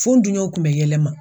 Fo un dunɲɔnw kun bɛ yɛlɛ n ma.